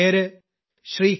പേര് ശ്രീ